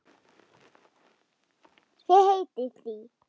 Ég heiti því.